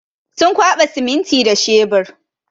Sun kwaɓa siminti da shebur.